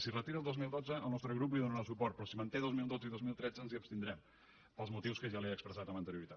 si es retira el dos mil dotze el nostre grup hi donarà suport però si es manté dos mil dotze i dos mil tretze ens hi abstindrem pels motius que ja he expressat amb anterioritat